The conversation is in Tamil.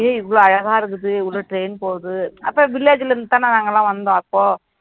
ஏய் இவ்வளவு அழகா இருக்குது இவ்வளவு train போகுது அப்ப village ல இருந்துதானே நாங்கெல்லாம் வந்தோம் அப்போ